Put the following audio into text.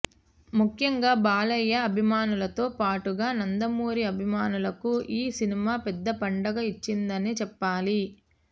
ముఖ్యంగా బాలయ్య అభిమానులతో పాటుగా నందమూరి అభిమానులకు ఈ సినిమా పెద్ద పండగ ఇచ్చిందనే చెప్పాలి